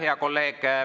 Hea kolleeg!